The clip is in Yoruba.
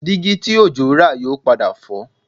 Dígí tí Òjó rà yóò padà fọ́